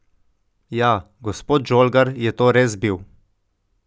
Ja, gospod Žolgar je to res bil.